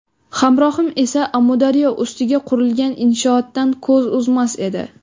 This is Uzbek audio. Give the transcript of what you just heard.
Hamrohim esa Amudaryo ustiga qurilgan inshootdan ko‘z uzmas edi.